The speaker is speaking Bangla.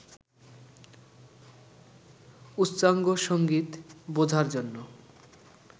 উচ্চাঙ্গসংগীত বোঝার জন্য